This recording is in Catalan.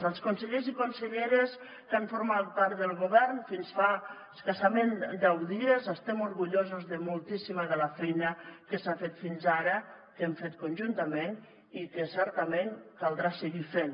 als consellers i conselleres que han format part del govern fins fa escassament deu dies estem orgullosos de moltíssima de la feina que s’ha fet fins ara que hem fet conjuntament i que certament caldrà seguir fent